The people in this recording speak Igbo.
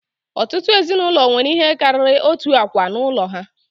Ọtụtụ ezinụlọ nwere ihe karịrị otu akwa n'ụlọ ha.